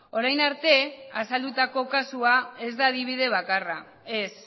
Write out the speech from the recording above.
orain arte azaldutako kasua ez da adibide bakarra ez